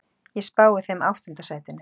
Ég spái þeim áttunda sætinu.